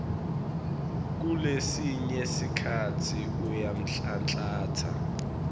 kulesinye sikhatsi uyanhlanhlatsa